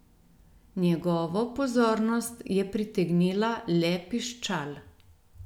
Njegovo pozornost je pritegnila le piščal.